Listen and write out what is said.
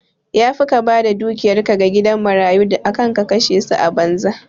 Yafi ka bada dukiyar ka ga gidan marayu akan ka kashe ta a banza